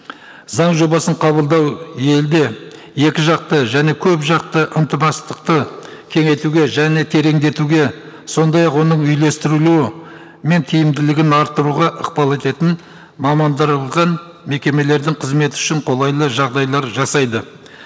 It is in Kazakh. заң жобасын қабылдау елде екіжақты және көпжақты кеңейтуге және тереңдетуге сондай ақ оның үйлестірілу мен тиімділігін арттыруға ықпал ететін мекемелердің қызметі үшін қолайлы жағдайлар жасайды